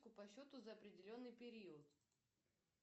по счету за определенный период